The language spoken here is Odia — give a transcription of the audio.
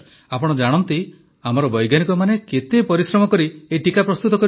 ପ୍ରଧାନମନ୍ତ୍ରୀ ଆପଣ ଜାଣନ୍ତି ଆମର ବୈଜ୍ଞାନିକମାନେ କେତେ ପରିଶ୍ରମ କରି ଏଇ ଟିକା ପ୍ରସ୍ତୁତ କରିଛନ୍ତି